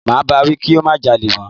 Máa bá wí kí ó má jalè mọ́.